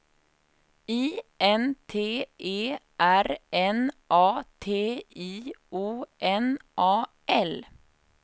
I N T E R N A T I O N A L